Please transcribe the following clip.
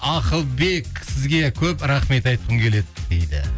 ақылбек сізге көп рахмет айтқым келеді дейді